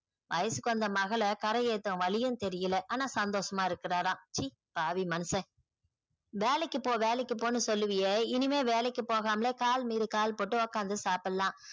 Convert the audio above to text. வயசுக்கு வந்த மகள கரை ஏத்தும் வழியும் தெரில ஆனா சந்தோஷம்மா இருக்குறார ச்சி பாவி மனுஷன் வேலைக்கு போ வேலைக்கு போன்னு சொல்லுவியே இனிமேல் வேலைக்கு போகாம்மளே கால மிரி கால போட்டு சாப்டலாம் ஒகாந்துக்குல்லா